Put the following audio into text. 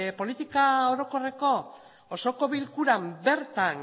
politika orokorreko osoko bilkuran